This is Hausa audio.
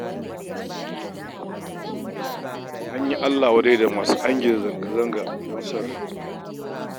An yi Allah wadai da masu angiza zanga-zanga don son rai